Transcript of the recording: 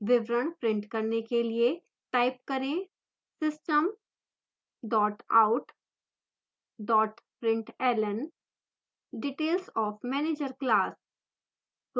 विवरण print करने के लिए type करें : system out println details of manager class